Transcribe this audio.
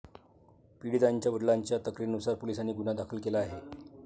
पीडितांच्या वडिलांच्या तक्रारीनुसार पोलिसांनी गुन्हा दाखल केला आहे.